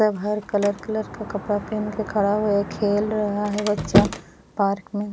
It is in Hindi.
सब हर कलर कलर का कपड़ा पहन के खड़ा है खेल रहा है बच्चा पार्क में।